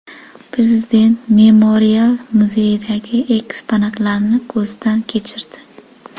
Prezident memorial muzeydagi eksponatlarni ko‘zdan kechirdi.